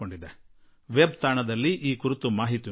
web site ನಲ್ಲಿ ನಿಮಗೆ ಇದರ ವಿವರ ಮಾಹಿತಿ ಸಿಗುತ್ತದೆ